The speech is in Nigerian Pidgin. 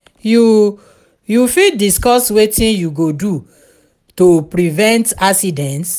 you you fit diescuss wetin you go do to prevent accidents?